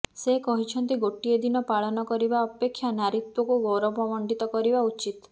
ସେ କହିଛନ୍ତି ଗୋଟିଏ ଦିନ ପାଳନ କରିବା ଅପେକ୍ଷା ନାରୀତ୍ୱକୁ ଗୌରବ ମଣ୍ଡିତ କରିବା ଉଚିତ୍